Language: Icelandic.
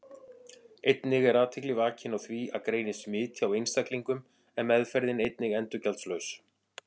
Einnig er athygli vakin á því að greinist smit hjá einstaklingum er meðferðin einnig endurgjaldslaus.